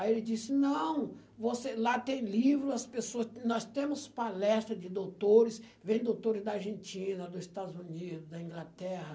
Aí ele disse, não, você, lá tem livro, as pessoa, nós temos palestra de doutores, vem doutores da Argentina, dos Estados Unidos, da Inglaterra,